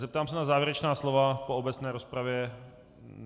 Zeptám se na závěrečná slova po obecné rozpravě.